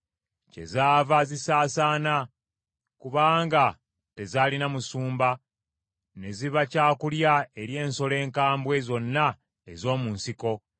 Kyezaava zisaasaana, kubanga tezaalina musumba, ne ziba kya kulya eri ensolo enkambwe zonna ez’omu nsiko.